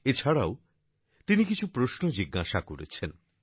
এছাড়াও তিনি কিছু প্রশ্ন জিজ্ঞাসা করেছেন